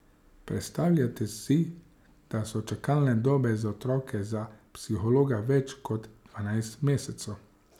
Predstavljajte si, da so čakalne dobe za otroke za psihologa več kot dvanajst mesecev.